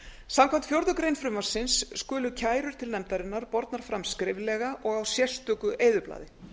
samkvæmt fjórðu grein frumvarpsins skulu kærur til nefndarinnar bornar fram skriflega og á sérstöku eyðublaði